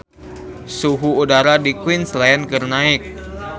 Suhu udara di Queensland keur naek